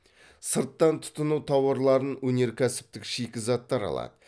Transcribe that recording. сырттан тұтыну тауарларын өнеркәсіптік шикізаттар алады